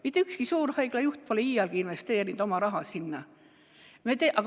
Mitte ükski suurhaigla juht pole iialgi investeerinud oma raha sinna.